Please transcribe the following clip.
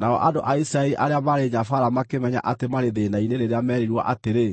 Nao andũ a Isiraeli arĩa maarĩ nyabaara makĩmenya atĩ maarĩ thĩĩna-inĩ rĩrĩa meerirwo atĩrĩ,